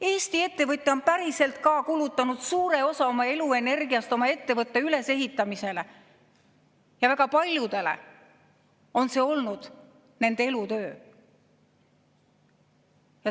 Eesti ettevõtja on päriselt ka kulutanud suure osa oma eluenergiast oma ettevõtte ülesehitamisele ja väga paljudele on see olnud nende elutöö.